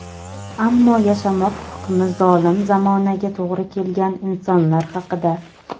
ammo yashamoq hukmi zolim zamonaga to‘g‘ri kelgan insonlar haqida.